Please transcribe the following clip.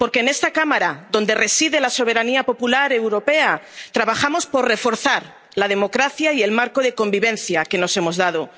Porque en esta cámara, donde reside la soberanía popular europea, trabajamos por reforzar la democracia y el marco de convivencia que nos hemos dado.